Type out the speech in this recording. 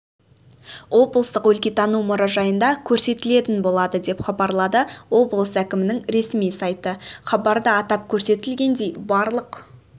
облыстық өлкетану мұражайында көрсетілетін болады деп хабарлады облыс әкімінің ресми сайты хабарда атап көрсетілгендей барлық